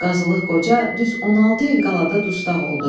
Qazılıq Qoca düz 16 il qaladan dustaq oldu.